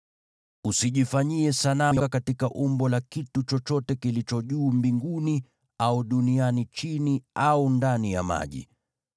Usijitengenezee sanamu katika umbo la kitu chochote kilicho juu mbinguni, au duniani chini, au ndani ya maji.